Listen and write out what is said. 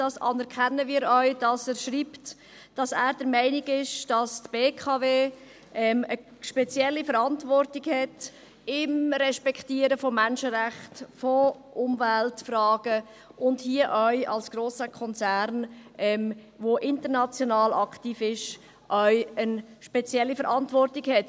Wir anerkennen auch, dass er schreibt, dass er der Meinung ist, dass die BKW eine spezielle Verantwortung hat bezüglich des Respektierens von Menschenrechten, von Umweltfragen, und dass er hier auch als grosser Konzern, der international aktiv ist, eine spezielle Verantwortung hat.